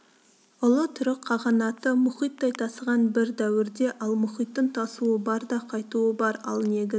ұлы түрік қағанаты мұхиттай тасыған бір дәуірде ал мұхиттың тасуы бар да қайтуы бар ал негіз